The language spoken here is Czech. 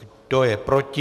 Kdo je proti?